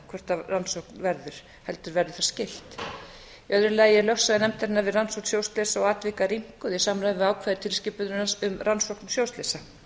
hvort rannsókn verður heldur verður það skylt í öðru lagi er lögsaga nefndarinnar við rannsókn sjóslysa og atvika rýmkuð í samræmi við ákvæði tilskipunar um rannsókn sjóslysa